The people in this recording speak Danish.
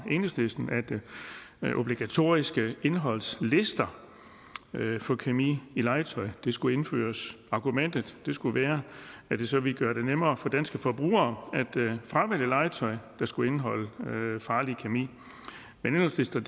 af enhedslisten at obligatoriske indholdslister for kemi i legetøj skulle indføres argumentet skulle være at det så ville gøre det nemmere for danske forbrugere at fravælge legetøj der skulle indeholde farlig kemi men indholdslister